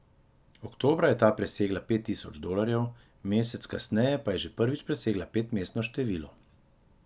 Oktobra je ta presegla pet tisoč dolarjev, mesec kasneje pa je že prvič presegla petmestno število.